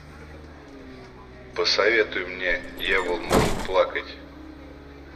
посоветуй мне дьявол может плакать